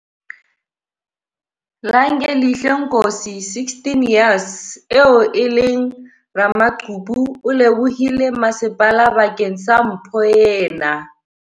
Langelihle Nkosi, 16 years, eo e leng ramaqhubu o lebohile masepala bakeng sa mpho ena.